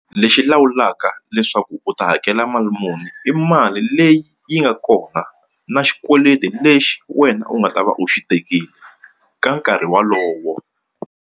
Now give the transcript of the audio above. Lexi lawulaka leswaku u ta hakela mali muni i mali leyi yi nga kona na xikweleti lexi wena u nga ta va u xi tekile ka nkarhi wolowo.